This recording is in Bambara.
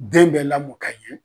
Den bɛ lamɔ ka ɲɛ